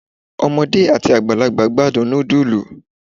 omode ati agbalagba gbadun nudulu